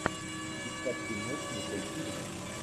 искать фильмец с николь кидман